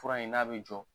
Fura in n'a bɛ jɔ